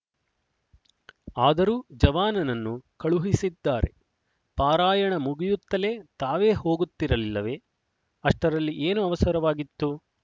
ಆದರೂ ಜವಾನನನ್ನು ಕಳುಹಿಸಿದ್ದಾರೆ ಪಾರಾಯಣ ಮುಗಿಯುತ್ತಲೇ ತಾವೇ ಹೋಗುತ್ತಿರಲಿಲ್ಲವೆ ಅಷ್ಟರಲ್ಲಿ ಏನು ಅವಸರವಾಗಿತ್ತು